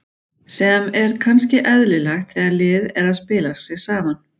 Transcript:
Sem er kannski eðlilegt þegar lið er að spila sig saman.